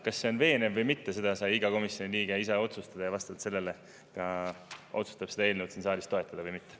Kas see on veenev või mitte, seda sai iga komisjoni liige ise otsustada ja vastavalt sellele ka otsustab seda eelnõu siin saalis toetada või mitte.